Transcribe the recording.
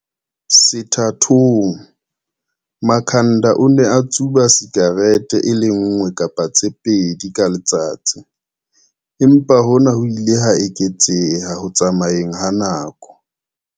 Sethathong, Makhanda o ne a tsuba sikarete e le nngwe kapa tse pedi ka letsatsi, empa hona ho ile ha eketseha ho tsamayeng ha nako.